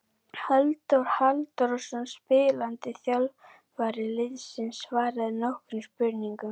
Halldór Halldórsson spilandi þjálfari liðsins svaraði nokkrum spurningum.